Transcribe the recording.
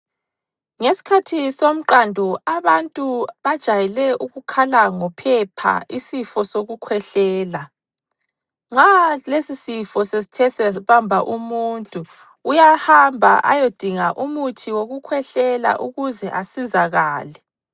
Ngesikhathi somqando abantu bajayele ukukhala ngophepha isifo sokukhwehlela. Nxa lesisifo sesithe sabamba umuntu uyahamba ayodinga umuthi wokukhwehlela ukuze asizakale.